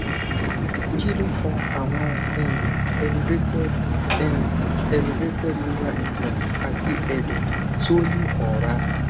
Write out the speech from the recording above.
kí ló fa àwọn um elevated um elevated liver enzymes àti ẹdọ tó ní ora